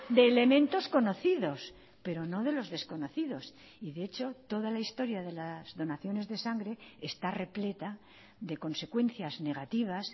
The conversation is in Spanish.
de elementos conocidos pero no de los desconocidos y de hecho toda la historia de las donaciones de sangre está repleta de consecuencias negativas